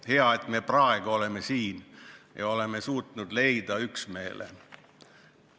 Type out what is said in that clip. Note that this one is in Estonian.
Hea, et me praegu oleme siin ja oleme suutnud leida üksmeele.